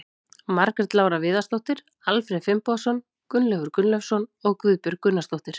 Margrét Lára Viðarsdóttir, Alfreð Finnbogason, Gunnleifur Gunnleifsson og Guðbjörg Gunnarsdóttir.